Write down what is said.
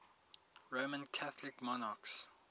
roman catholic monarchs